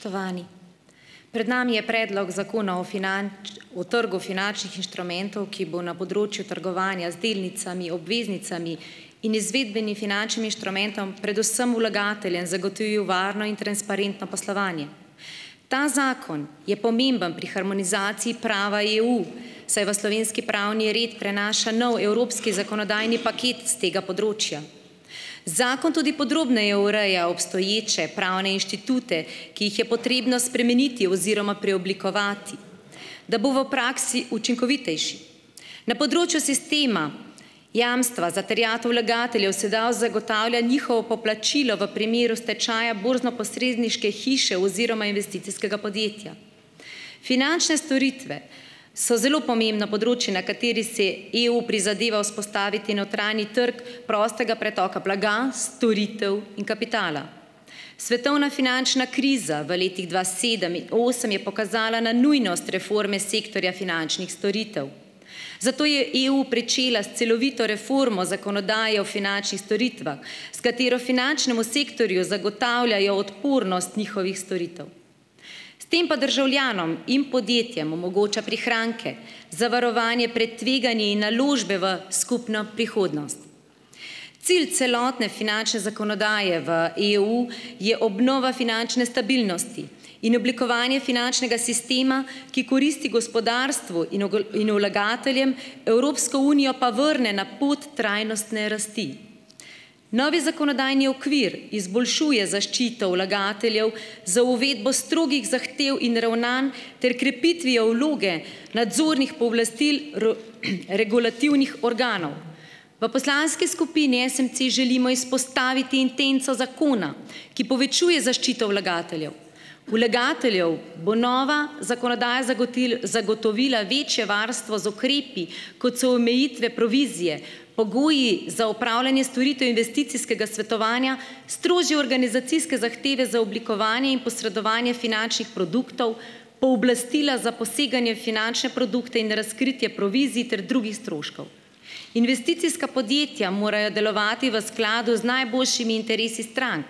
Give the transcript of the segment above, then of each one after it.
Spoštovani! Pred nami je predlog zakona o o trgu finančnih inštrumentov, ki bo na področju trgovanja z delnicami, obveznicami in izvedbeni finančnim inštrumentom predvsem vlagateljem zagotovil varno in transparentno poslovanje. Ta zakon je pomemben pri harmonizaciji prava EU, saj v slovenski pravni red prenaša nov evropski zakonodajni paket s tega področja. Zakon tudi podrobneje ureja obstoječe pravne inštitute, ki jih je potrebno spremeniti oziroma preoblikovati, da bo v praksi učinkovitejši. Na področju sistema jamstva za terjatev vlagateljev se dau zagotavlja njihovo poplačilo v primeru stečaja borznoposredniške hiše oziroma investicijskega podjetja. Finančne storitve so zelo pomembno področje, na kateri se EU prizadeva vzpostaviti notranji trg prostega pretoka blaga, storitev in kapitala. Svetovna finančna kriza v letih dva sedem in osem je pokazala na nujnost reforme sektorja finančnih storitev, zato je EU pričela s celovito reformo zakonodaje o finančnih storitvah, s katero finančnemu sektorju zagotavljajo odpornost njihovih storitev. S tem pa državljanom in podjetjem omogoča prihranke, zavarovanje pred tveganji in naložbe v skupno prihodnost. Cilj celotne finančne zakonodaje v EU je obnova finančne stabilnosti in oblikovanje finančnega sistema, ki koristi gospodarstvu in in vlagateljem, Evropsko unijo pa vrne na pot trajnostne rasti. Novi zakonodajni okvir izboljšuje zaščito vlagateljev z uvedbo strogih zahtev in ravnanj ter krepitvijo vloge nadzornih pooblastil regulativnih organov. V poslanski skupini SMC želimo izpostaviti intenco zakona, ki povečuje zaščito vlagateljev. Vlagateljev bo nova zakonodaja zagotil zagotovila večje varstvo z ukrepi, kot so omejitve provizije, pogoji za opravljanje storitev investicijskega svetovanja, strožje organizacijske zahteve za oblikovanje in posredovanje finančnih produktov, pooblastila za poseganje finančne produkte in razkritje provizij ter drugih stroškov. Investicijska podjetja morajo delovati v skladu z najboljšimi interesi strank.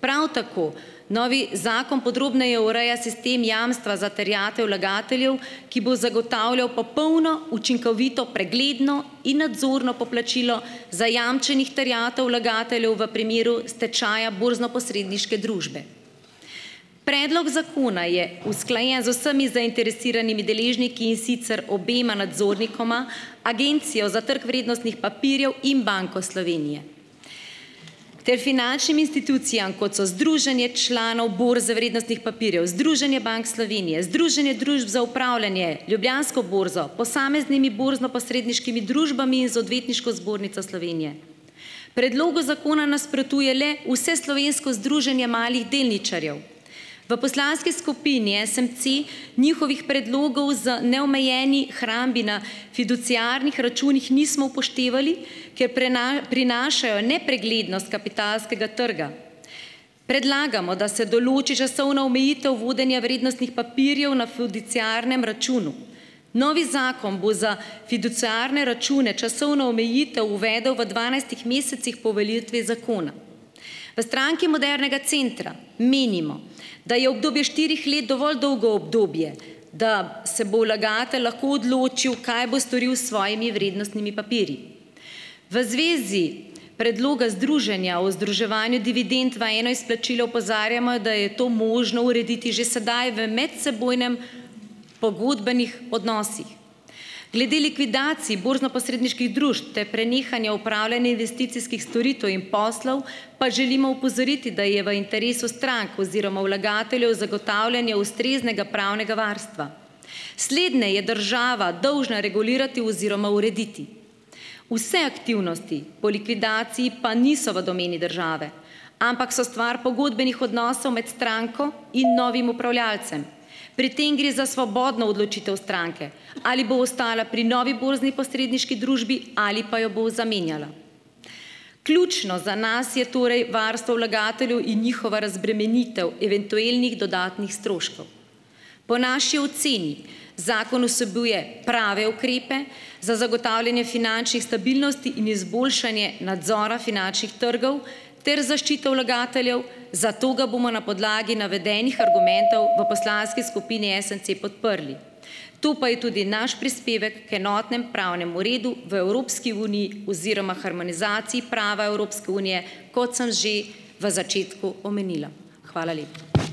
Prav tako novi zakon podrobneje ureja sistem jamstva za terjatev vlagateljev, ki bo zagotavljal popolno, učinkovito, pregledno in nadzorno poplačilo zajamčenih terjatev vlagateljev v primeru stečaja borznoposredniške družbe. Predlog zakona je usklajen z vsemi zainteresiranimi deležniki, in sicer obema nadzornikoma, Agencijo za trg vrednostnih papirjev in Banko Slovenije, ter finančnimi institucijami, kot so Združenje članov borze vrednostnih papirjev, Združenje bank Slovenije, Združenje družb za upravljanje, Ljubljansko borzo, posameznimi borznoposredniškimi družbami in z Odvetniško zbornico Slovenije. Predlogu zakona nasprotuje le Vseslovensko združenje malih delničarjev. V poslanski skupini SMC njihovih predlogov z neomejeni hrambi na fiduciarnih računih nismo upoštevali, ker prinašajo nepreglednost kapitalskega trga. Predlagamo, da se določi časovna omejitev vodenja vrednostnih papirjev na fiduciarnem računu. Novi zakon bo za fiduciarne račune časovno omejitev uvedel v dvanajstih mesecih po uveljavitvi zakona. V Stranki modernega centra menimo, da je obdobje štirih let dovolj dolgo obdobje, da se bo vlagatelj lahko odločil, kaj bo storil s svojimi vrednostnimi papirji. V zvezi predloga Združenja o združevanju dividend v eno izplačilo opozarjamo, da je to možno urediti že sedaj v medsebojnem pogodbenih odnosih. Glede likvidacij borznoposredniških družb ter prenehanje opravljanje investicijskih storitev in poslov pa želimo opozoriti, da je v interesu strank oziroma vlagateljev zagotavljanje ustreznega pravnega varstva. Sledne je država dolžna regulirati oziroma urediti. Vse aktivnosti po likvidaciji pa niso v domeni države, ampak so stvar pogodbenih odnosov med stranko in novim upravljalcem . Pri tem gre za svobodno odločitev stranke, ali bo ostala pri novi borzni posredniški družbi ali pa jo bo zamenjala. Ključno za nas je torej varstvo vlagateljev in njihova razbremenitev eventuelnih dodatnih stroškov. Po naši oceni zakon vsebuje prave ukrepe za zagotavljanje finančnih stabilnosti in izboljšanje nadzora finančnih trgov ter zaščito vlagateljev, zato ga bomo na podlagi navedenih argumentov v poslanski skupini SMC podprli. To pa je tudi naš prispevek k enotnemu pravnemu redu v Evropski uniji oziroma harmonizaciji prava Evropske unije, kot sem že v začetku omenila. Hvala lepa.